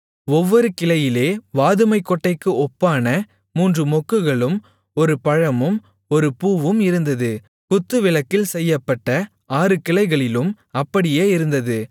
ஒவ்வொரு கிளையிலே வாதுமைக்கொட்டைக்கு ஒப்பான மூன்று மொக்குகளும் ஒரு பழமும் ஒரு பூவும் இருந்தது குத்துவிளக்கில் செய்யப்பட்ட ஆறு கிளைகளிலும் அப்படியே இருந்தது